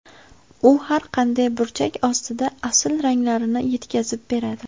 U har qanday burchak ostida asl ranglarni yetkazib beradi.